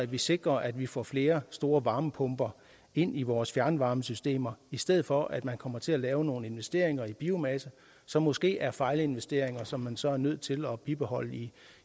vi sikrer at vi får flere store varmepumper ind i vores fjernvarmesystemer i stedet for at man kommer til at lave nogle investeringer i biomasse som måske er fejlinvesteringer og som man så er nødt til at bibeholde i